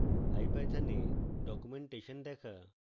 ipython এ documentation দেখা